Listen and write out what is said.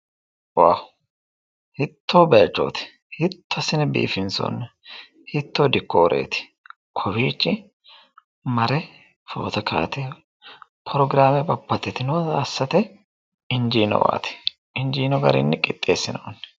Waawu ! Hiittoo bayichooti! hiitto biifinsoonni! hiittoo dikooreeti !kowiichi mare foto ka'ate prograame babbaxxitinota assate injiinowaati injiino garinni qixxeessinoonni.